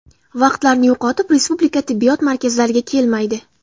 Vaqtlarini yo‘qotib respublika tibbiyot markazlariga kelmaydi.